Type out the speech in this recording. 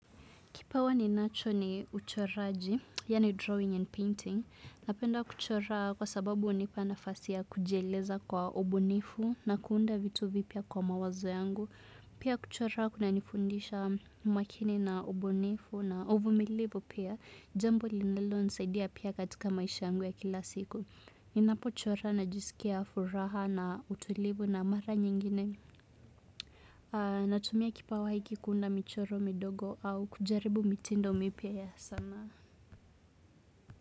Kipawa ninacho ni uchoraji, yaani drawing and painting. Napenda kuchora kwa sababu hunipa nafasi ya kujieleza kwa ubunifu na kuunda vitu vipya kwa mawazo yangu. Pia kuchora kunanifundisha umaakini na ubunifu na uvumilivu pia. Jambo linalonisaidia pia katika maisha yangu ya kila siku. Ninapochora najisikia furaha na utulivu na mara nyingine. Natumia kipawa hiki kuunda michoro midogo au kujaribu mitindo mipya ya sanaa.